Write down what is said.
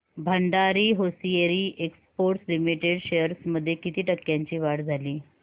Bhandari hosiery exports limited shares मध्ये किती टक्क्यांची वाढ झाली